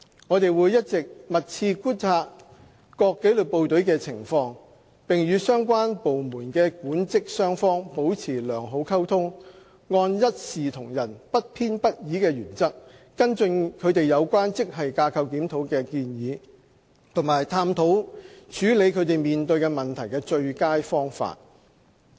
我們會一直密切觀察各紀律部隊的情況，並與相關部門的管職雙方保持良好溝通，按一視同仁、不偏不倚的原則跟進他們有關職系架構檢討的建議，以及探討處理他們面對的問題的最佳方法。